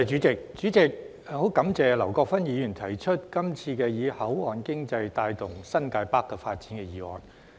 主席，感謝劉國勳議員提出今次"以口岸經濟帶動新界北發展"的議案。